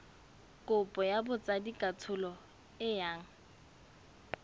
kopo ya botsadikatsholo e yang